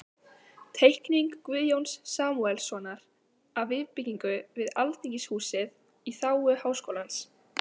Teikning Guðjóns Samúelssonar af viðbyggingu við Alþingishúsið í þágu Háskólans.